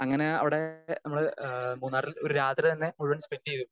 Speaker 2 അങ്ങനെ അവിടെ നമ്മൾ അഹ് മൂന്നാറിൽ ഒരു രാത്രി തന്നെ മുഴുവൻ സ്പെൻഡ് ചെയ്തു.